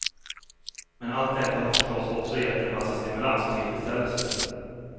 Men allt detta har förstås också gett en massa stimulans och tillfredsställelse.